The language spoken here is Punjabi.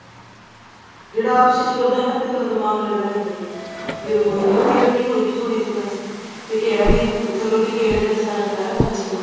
ਜਿਹੜਾ ਆਪ stich ਕਰਦਾ ਨਾ ਫ਼ੇਰ ਥੋੜਾ ਦਿਮਾਗ ਲਗਾ ਲੈਂਦਾ ਹੈ ਚਲੋ ਕੋਈ ਉਹਦੀ cutting ਹੋਏਗੀ ਥੋੜੀ ਜੀ ਬੱਸ ਤੇ ਘੇਰਾ ਵੀ ਥੱਲੋਂ ਦੀ ਘੇਰੇ ਦਾ ਸਾਰਾ ਗਰਾਰਾ ਬਣ ਜੇਗਾ